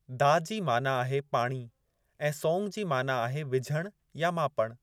दा जी माना आहे पाणी ऐं सोंग जी माना आहे विझणु या मापणु।